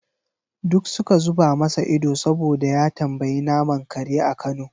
Duk suka zuba masa ido saboda ya tambayi naman kare a kano.